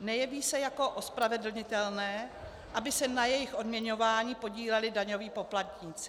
nejeví se jako ospravedlnitelné, aby se na jejich odměňování podíleli daňoví poplatníci.